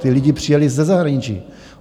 Ti lidé přijeli ze zahraničí.